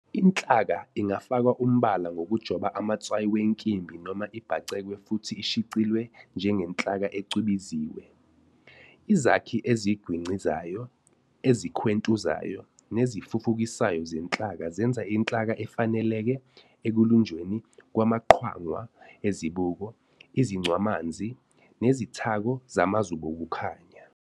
Inhlaka ingafakwa umbala ngokujoba amatswayi wenkimbi noma ibhacekwe futhi ishicilwe njengenhlaka ecwebeziwe "enamel glass". Izakhi ezigwincizayo, ezikhwentuzayo nezifufukisayo zenhlaka zenza inhlaka efaneleke ekulunjweni kwamaqwangwa ezibuko, izincwamanzi "prisms", nezithako zamazubokukhanya "optoelectronics".